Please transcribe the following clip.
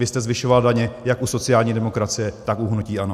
Vy jste zvyšoval daně jak u sociální demokracie, tak u hnutí ANO!